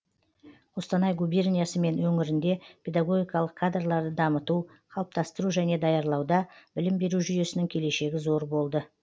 қостанай губерниясы мен өңірінде педагогикалық кадрларды дамыту қалыптастыру және даярлауда білім беру жүйесінің келешегі зор болды